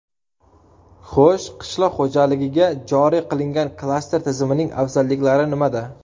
Xo‘sh, qishloq xo‘jaligiga joriy qilingan klaster tizimining afzalliklari nimada?